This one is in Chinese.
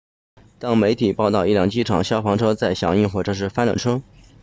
当地媒体报道一辆机场消防车在响应火警时翻了车